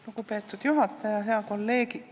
Lugupeetud juhataja!